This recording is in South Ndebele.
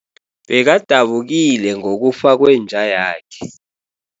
Bekadabukile ngokufa kwenja yakhe.